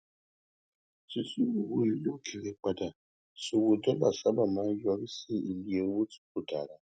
títú owó ilè òkèèrè padà sí owó dólà sábà máa ń yọrí sí iye owó tí kò dára